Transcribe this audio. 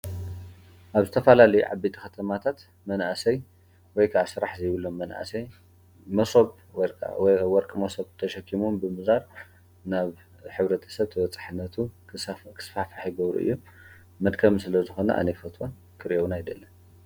ኣብ ዝተፈላለዩ ዓበይቲ ከተማታት መናእሰይ ወይካዓ ስራሕ ዘይብሎም መናእሰይ መሶብ ወይካዓ ወርቂ መሶብ ተሸኪሞም ብምዛር ናብ ሕ/ሰብ ተበፃሕነቱ ክስፋሕፋ ይገብሩ እዮም፡፡ መድከሚ ስለዝኮነ ኣነ ኣይፈትዎን ክሪኦም ኣይደልን፡፡